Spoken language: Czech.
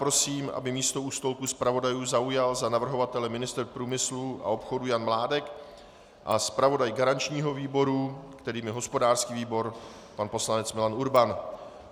Prosím, aby místo u stolku zpravodajů zaujal na navrhovatele ministr průmyslu a obchodu Jan Mládek a zpravodaj garančního výboru, kterým je hospodářský výbor, pan poslanec Milan Urban.